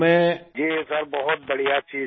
Rajesh Prajapati ji sir बहुत बढ़िया चीज़ है